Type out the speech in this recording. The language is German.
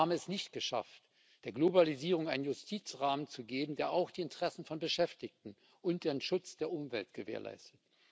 Wir haben es nicht geschafft, der Globalisierung einen Justizrahmen zu geben, der auch die Interessen von Beschäftigten und den Schutz der Umwelt gewährleistet.